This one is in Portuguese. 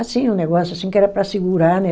Assim, um negócio assim que era para segurar, né?